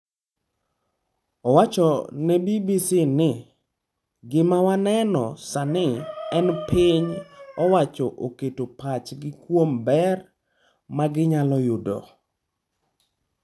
Owacho ne BBC ni: “Gima waneno sani en ni piny owacho oketo pachgi kuom ber ma ginyalo yudo.”